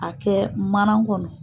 A kɛ manan kɔnɔ.